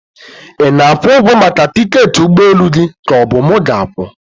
Ị na-akwụ ụgwọ maka tiketi ụgbọ elu gị ka ọ bụ mu ga-akwụ?